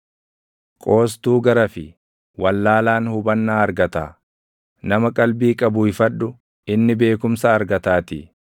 Qoostuu garafi; wallaalaan hubannaa argataa; nama qalbii qabu ifadhu; inni beekumsa argataatii.